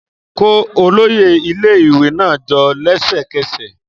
Kó olóyè ilé-ìwé náà jọ lẹ́sẹ̀kẹsẹ̀